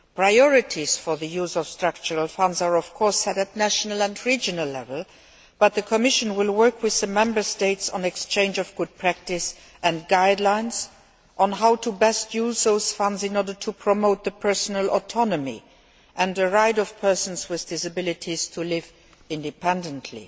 Priorities for the use of Structural Funds are, of course, set at national and regional level, but the Commission will work with the Member States on the exchange of good practice and guidelines as to how best to use those funds in order to promote the personal autonomy and the right of persons with disabilities to live independently.